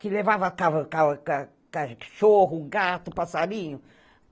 Que levava ca ca ca cachorro, gato, passarinho.